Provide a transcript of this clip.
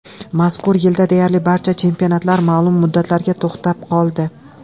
Mazkur yilda deyarli barcha chempionatlar ma’lum muddatlarga to‘xtab qoldi.